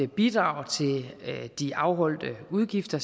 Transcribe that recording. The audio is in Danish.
bidrag til de afholdte udgifter